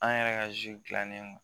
An yɛrɛ ka dilannen kan